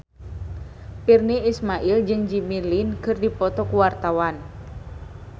Virnie Ismail jeung Jimmy Lin keur dipoto ku wartawan